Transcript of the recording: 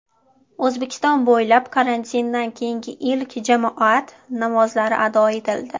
O‘zbekiston bo‘ylab karantindan keyingi ilk jamoat namozlari ado etildi .